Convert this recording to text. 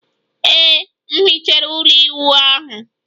Ee, m hichere ụlọ ịwụ ahu